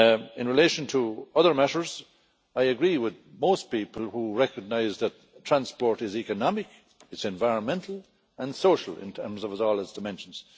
In relation to other matters, I agree with most people who recognise that transport is economical, it is environmental and social in terms of all its dimensions.